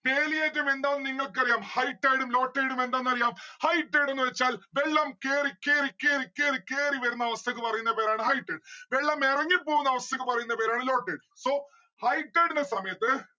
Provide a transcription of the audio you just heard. വേലിയേറ്റം എന്താണ് ന്ന്‌ നിങ്ങൾക്കറിയാം high tide ഉം low tide ഉം എന്താണെന്ന് അറിയാം. high tide എന്ന് വച്ചാൽ വെള്ളം കേറിക്കെറിക്കേറിക്കേറിക്കേറി വരുന്ന അവസ്ഥക്ക് പറയുന്ന പേരാണ് high tide വെള്ളം ഇറങ്ങിപോവുന്ന അവസ്ഥക്ക് പറയുന്ന പേരാണ് low tide. so high tide ന്റെ സമയത്ത്